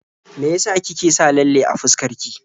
Me ya sa kike sa lalle a fuskar ki?